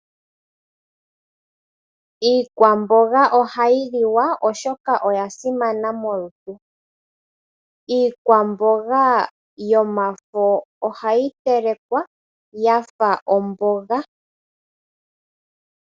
Iikwamboga ohayi liwa oshoka oya simana molutu. Iikwamboga yomafo ohayi telekwa, yafa omboga.